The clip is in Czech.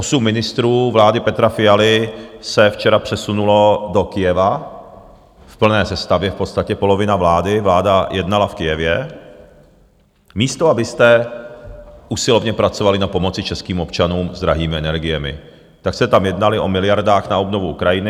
Osm ministrů vlády Petra Fialy se včera přesunulo do Kyjeva v plné sestavě, v podstatě polovina vlády, vláda jednala v Kyjevě, místo abyste usilovně pracovali na pomoci českým občanům s drahými energiemi, tak jste tam jednali o miliardách na obnovu Ukrajiny.